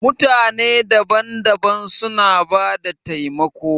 Mutane daban-daban suna bada taimako.